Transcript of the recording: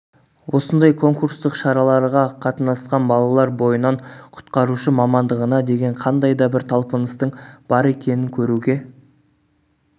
осындай конкурстық шараларға қатынасқан балалар бойынан құтқарушы мамандығына деген қандай да бір талпыныстың бар екенің көруге